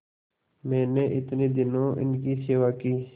मैंने इतने दिनों इनकी सेवा की